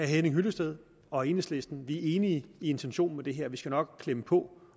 henning hyllested og enhedslisten at vi er enige i intentionen med det her vi skal nok klemme på